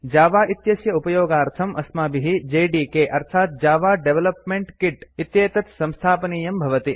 Java इत्यस्य उपयोगार्थम् अस्माभिः जेडीके अर्थात् जव डेवलपमेंट कित् इत्येतत् संस्थापनीयं भवति